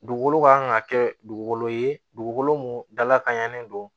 Dugukolo kan ka kɛ dugukolo ye dugukolo mun dala ka ɲannen don